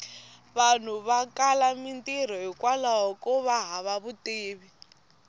vanhu va kala mintirho hikwlaho kova hava vutivi